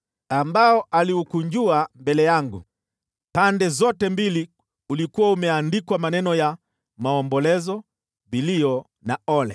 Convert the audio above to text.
ambao aliukunjua mbele yangu. Pande zote mbili ulikuwa umeandikwa maneno ya maombolezo, vilio na ole.